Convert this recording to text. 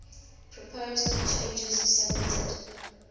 proposed changes submitted